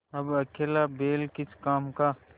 अब अकेला बैल किस काम का